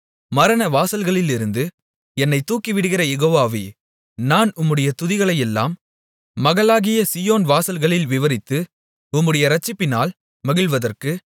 மரணவாசல்களிலிருந்து என்னைத் தூக்கிவிடுகிற யெகோவாவே நான் உம்முடைய துதிகளையெல்லாம் மகளாகிய சீயோன் வாசல்களில் விவரித்து உம்முடைய இரட்சிப்பினால் மகிழ்வதற்கு